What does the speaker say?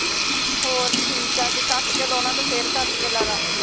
ਹੋਰ ਠੀਕ ਐ ਜੇ cut ਕੇ ਲਾਉਣਾ ਤੇ ਫੇਰ cut ਕੇ ਲਾਲਾ